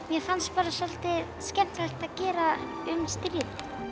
mér fannst soldið skemmtilegt að gera um stríðni